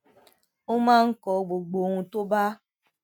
ó máa ń kọ gbogbo ohun tó bá